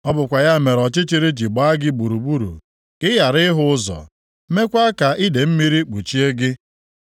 Ọ bụkwa ya mere ọchịchịrị ji gbaa gị gburugburu ka ị ghara ịhụ ụzọ, meekwa ka idee mmiri kpuchie gị.